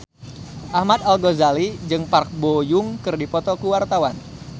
Ahmad Al-Ghazali jeung Park Bo Yung keur dipoto ku wartawan